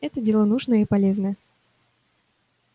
это дело нужное и полезное